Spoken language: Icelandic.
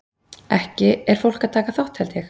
Fólk er að taka þátt held ég.